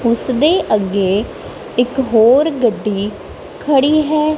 ਉਸਦੇ ਅੱਗੇ ਇੱਕ ਹੋਰ ਗੱਡੀ ਖੜੀ ਹੈ।